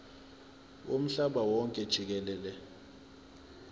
womhlaba wonke jikelele